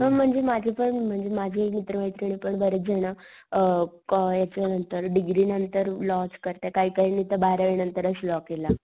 पण म्हणजे माझी पण म्हणजे माझी मित्र मैत्रिणी बरेच जण, अ याच्या नंतर अ डिग्री नंतर लॉ च करतायत काही काहींनी तर बारावी नंतरच लॉ केला.